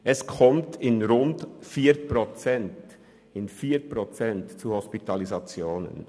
Es kommt in rund 4 Prozent zu Hospitalisationen».